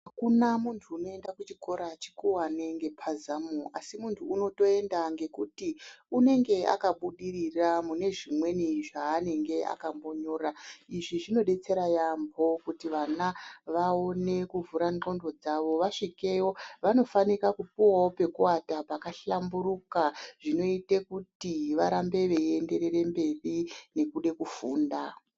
Akuna muntu umoenda kuchikora chikuwane ngepazamu, asi muntu unotoenda ngekuti unenge akabidirira mune zvimweni zvaanenge akambonyora izvi zvinodetsera yambo kuti vana vaone kuvhura ndxondo dzawo vasvikeyo vanofanika kupuwawo pekuwata pakahlamburuka zvinoite kuti varambe veiienderere mberi nekude kufunda.